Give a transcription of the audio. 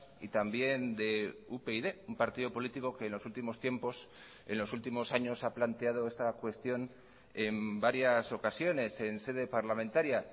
y también de upyd un partido político que en los últimos tiempos en los últimos años ha planteado esta cuestión en varias ocasiones en sede parlamentaria